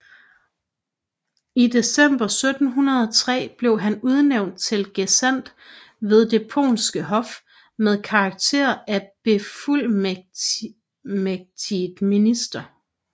I december 1703 blev han udnævnt til gesandt ved det polske hof med karakter af befuldmægtiget minister